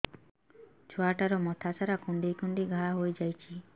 ଛୁଆଟାର ମଥା ସାରା କୁଂଡେଇ କୁଂଡେଇ ଘାଆ ହୋଇ ଯାଇଛି